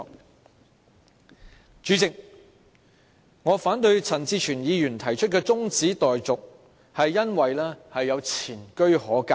代理主席，我反對陳志全議員提出的中止待續議案，是因為有前車可鑒。